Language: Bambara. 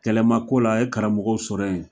Kɛlɛ ma k'o la a ye karamɔgɔw sɔrɔ yen